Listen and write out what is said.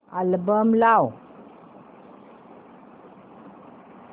album लाव